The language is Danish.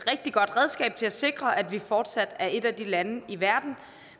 rigtig godt redskab til at sikre at vi fortsat er et af de lande i verden